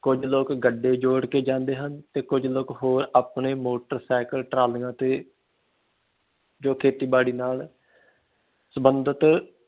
ਕੁਝ ਲੋਕ ਗੱਡੇ ਜੋੜ ਕੇ ਜਾਂਦੇ ਹਨ ਤੇ ਕੁਝ ਲੋਕ ਹੋਰ ਆਪਣੇ ਮੋਟਰ ਸਾਈਕਲ ਟਰਾਲੀਆਂ ਤੇ ਜੋਂ ਖੇਤੀ ਬਾੜੀ ਨਾਲ ਸਬੰਧਤ